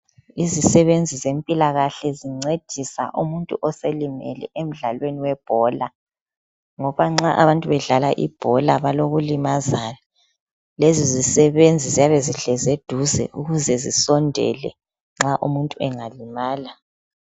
Izisebenze zempilakahle zincedisa umuntu oselimele emdlalweni webhola ngoba nxa abantu bedlala ibhola balokulimazana. Lezi zisebenze ziyabe zihlezi eduze ukuze zisondele nxa umuntu angalimala.